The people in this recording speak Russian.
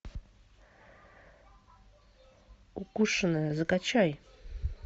укушенная закачай